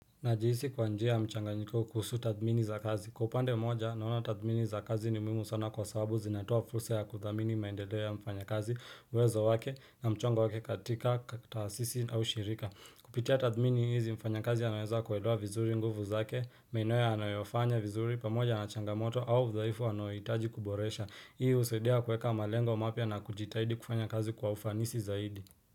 Najihisi kwa njia ya mchanganyiko kuhusu tathmini za kazi. Kwa upande moja naona tathmini za kazi ni muhimu sana kwa sababu zinatoa fursa ya kuthamini maendeleo ya mfanyakazi uwezo wake na mchongo wake katika, taasisi au shirika. Kupitia tathmini hizi mfanyakazi anaweza kuelewa vizuri nguvu zake, maeneo yanayofanya vizuri, pamoja na changamoto au udhaifu anahitaji kuboresha. Hii husaidia kuweka malengo mapya na kujitahidi kufanya kazi kwa ufanisi zaidi.